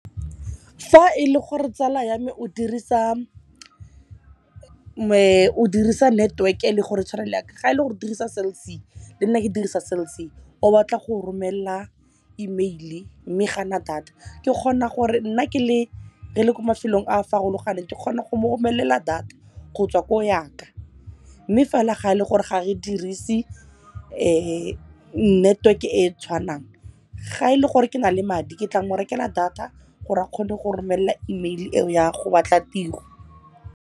Fa e le gore tsala ya me o dirisa network-e eleng gore e tshware le yaka, ga e le go dirisa Cell C le nna ke dirisa Cell C o batla go romelela email-e mme ga ana data, ke kgona gore nna re le ko mafelong a a farologaneng ke kgona go mo romelela data go tswa ko yaka. Mme fela ga e le gore ga re dirise network-e e tshwanang, ga e le gore ke na le madi, ke tla mo rekela data gore a kgone go romela email eo ya go batla tiro.